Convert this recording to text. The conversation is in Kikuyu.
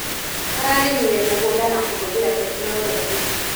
Ararĩmire mũgũnda na kũhũthĩra tekinologĩ.